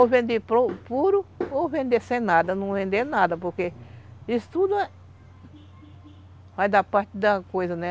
Ou vender puro, ou vender sem nada, não vender nada, porque isso tudo vai dar parte da coisa, né?